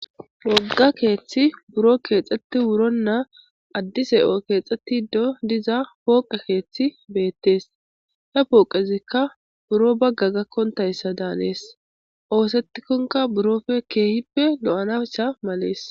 Woga kethi buro kexeti wirona adise kexetido diza poqe kethi betes ha poqezika biro baga gakontaysa danes osetikoka birope kehipe lo'anaysa males.